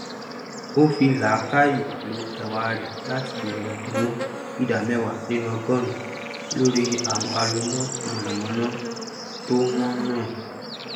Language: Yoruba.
ó fí làákàyè ló ẹwà rẹ latí bèrè ẹdínwó ìdá mẹwàá nínú ọgọrùnún lórí àwọn aloná mànàmáná tó wọn náà